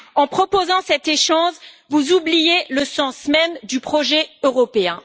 En proposant cet échange, vous oubliez le sens même du projet européen.